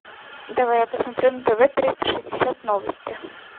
давай я посмотрю на тв триста шестьдесят новости